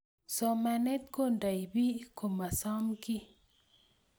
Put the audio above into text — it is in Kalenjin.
Somanet kundeni piik komasomkii